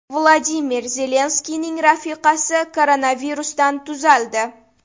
Vladimir Zelenskiyning rafiqasi koronavirusdan tuzaldi.